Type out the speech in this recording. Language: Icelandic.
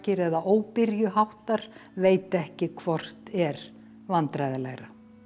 eða veit ekki hvort er vandræðalegra